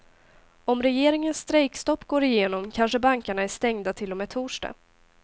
Om regeringens strejkstopp går igenom kanske bankerna är stängda till och med torsdag.